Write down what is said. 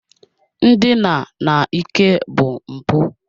Ndina n'ike bụ mpụ